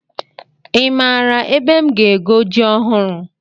Ị maara ebe m ga-ego ji ọhụrụ?